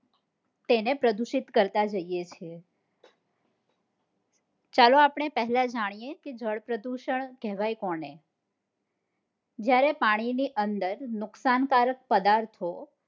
તેને પ્રદુષિત કરતા જઈએ છીએ ચાલો આપણે પહેલા જાણીએ કે જળ પ્રદુષણ કહેવાય કોને, જયારે પાણી ની અંદર નુકશાનકારક પદાર્થો